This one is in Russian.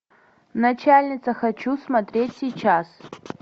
начальница хочу смотреть сейчас